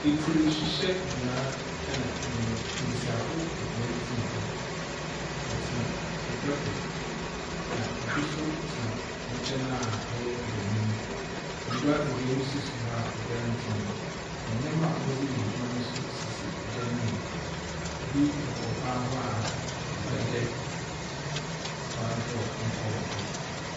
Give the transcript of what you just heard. Etsir hyehyɛbea ɛnna mbenyimf mbesiafo ebien tsena hɔ. Wɔtsena egua do, na obi nso tsena hɔn nkyɛn a ɔyɛ benyin. Ngua ebien nso si hɔ obiara ntsena mu, na nneɛma a wɔdze yɛ adwuma no nso sisi dan no mu. Ebi bobɔ ban ho a ɔyɛ dɛ wɔadorɔ nipa wɔ do.